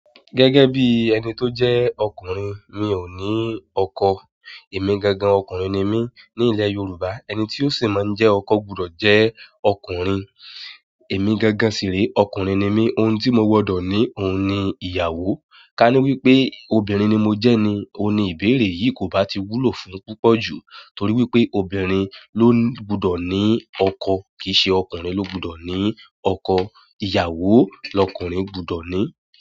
Gẹ́gẹ́ bí ẹni tó jẹ́ ọkùnrin, mi ò ní ọkọ. Èmi gangan ọkùnrin ni mí. Ní ilẹ̀ Yorùbá, ẹni tí ó sì máa ń jẹ́ ọkọ gbọdọ̀ jẹ́ ọkùnrin. Èmi gangan sì re, ọkùnrin ni mí. Ohun tí mo gbọdọ̀ ní òun ni ìyàwó. Ka ní wípé obìnrin ni mo jẹ́ ni, òun ní ìbéèrè yìí kò bá ti wúlò fún púpọ̀ jù. Nítorí wípé obìnrin ló gbọdọ̀ ní ọkọ kìí ṣe ọkùnrin ló gbọdọ̀ ní ọkọ. Ìyàwó lọkùnrin gbọdọ̀ ní.